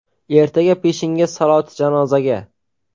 Ertaga peshinga saloti janozaga.